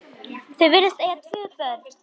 Þau virðast eiga tvö börn.